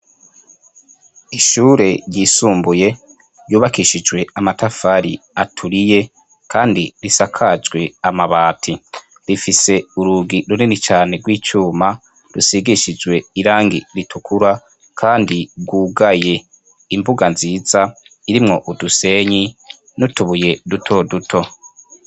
Ishure ryisumbuye yubakishijwe amatafari aturiye, kandi risakajwe amabati rifise urugi runini cane rw'icuma rusigishijwe irangi ritukura, kandi rwugaye imbuga nziza irimwo udusenyi notubuye duto duto.